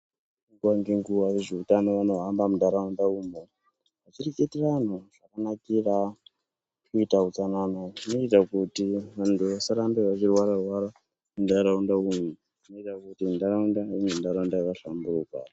Nguva ngenguva vezvewutano vanohamba mundaraunda umo vechireketera vandu zvakanakira kuita utsanana zvinoita kuti vandu vasarambe vachirwara rwara mumdaraunda umu zvinoita kuti ndaraunda ive ndaraunda yakahlambuka.